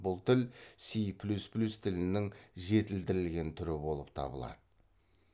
бұл тіл си плюс плюс тілінің жетілдірілген түрі болып табылады